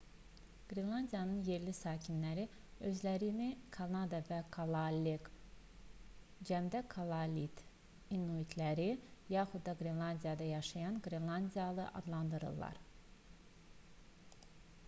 qrenlandiyanın yerli sakinləri özlərini kanada və kalaallek cəmdə: kalaallit inuitləri yaxud da qrenlandiyada yaşayan qrenlandiyalı adlandırırlar